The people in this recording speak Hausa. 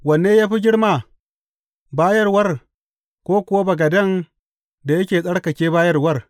Wanne ya fi girma, bayarwar, ko kuwa bagaden da yake tsarkake bayarwar?